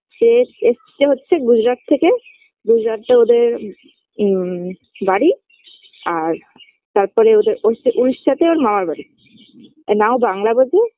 সে এস এসছে হচ্ছে গুজরাট থেকে গুজরাটটা ওদের উম বাড়ি আর তারপরে ওদের উড়িষ্যা উড়িষ্যাতে ওর মামার বাড়ি আর না ও বাংলা বোঝে